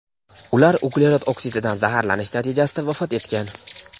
Ular uglerod oksididan zaharlanish natijasida vafot etgan.